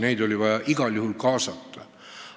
Neid oli vaja igal juhul kaasata.